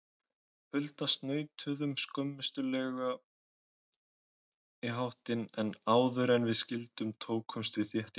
Hulda snautuðum skömmustuleg í háttinn, en áðuren við skildum tókumst við þétt í hendur.